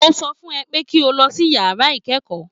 Mo sọ fún ẹ pé kí o lọ sí yàrá ìkẹ́kọ̀ọ́